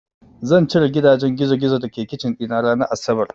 Zan cire gidajen gizogizo da ke kicin ɗina ranar asabar.